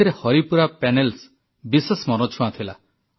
ଏଥିରେ ହରିପୁରା ପ୍ୟାନେଲ୍ସ ବିଶେଷ ମନଛୁଆଁ ଥିଲା